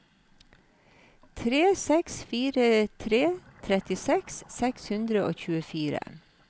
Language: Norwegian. tre seks fire tre trettiseks seks hundre og tjuefire